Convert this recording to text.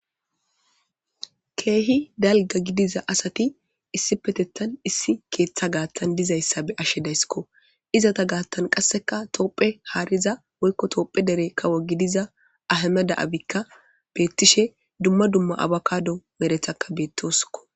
keehi dalga gidiza asati issi petettan issi keeththa gaattan dizayssa be ashe daysskko izata gaattan qasseka toopphe haariza wolko toopphe dere kawo gidiza ahama da7abikka beettishe dumma dumma abakado merethakka beettosko